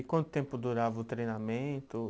E quanto tempo durava o treinamento?